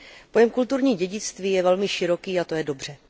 Pojem kulturní dědictví je velmi široký, a to je dobře.